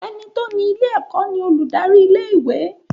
Ẹní tó ni ilé ẹ̀kọ́ ni olùdarí ilé ìwé.